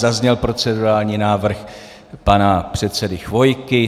Zazněl procedurální návrh pana předsedy Chvojky.